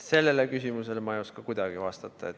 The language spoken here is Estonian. Sellele küsimusele ei oska ma kuidagi vastata.